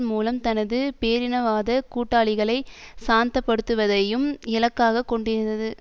மூலம் தனது பேரினவாத கூட்டாளிகளை சாந்தப்படுத்துவதையும் இலக்காக கொண்டிருந்தது